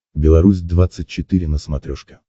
беларусь двадцать четыре на смотрешке